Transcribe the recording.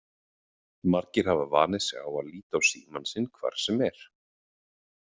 Margir hafa vanið sig á að líta á símann sinn hvar sem er.